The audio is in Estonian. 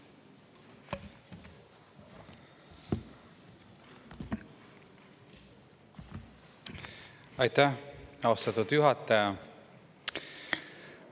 Aitäh, austatud juhataja!